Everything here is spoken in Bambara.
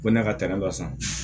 Ko ne ka taa ne la san